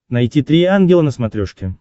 найти три ангела на смотрешке